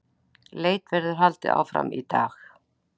Leit verður haldið áfram í dag